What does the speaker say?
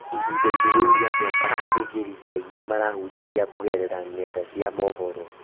Ihinda-inĩ rĩu rĩa mwaka, athĩnjĩri Ngai nĩ marahunjia kũgerera ng'enda cia mohoro